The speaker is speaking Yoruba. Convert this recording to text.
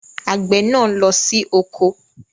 Àgbè náà lọ sí oko